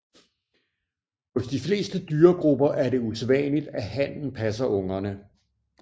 Hos de fleste dyregrupper er det usædvanligt at hannen passer ungerne